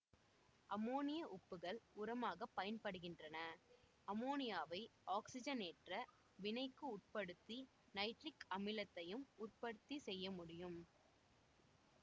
அம்மோனிய உப்புக்கள் உரமாகப் பயன்படுகின்றன அம்மோனியாவை ஆக்சிஜனேற்ற வினைக்கு உட்படுத்தி நைட்ரிக் அமிலத்தையும் உற்பத்தி செய்ய முடியும்